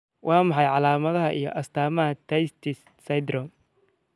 Waa maxay calaamadaha iyo astaamaha Tietz syndrome?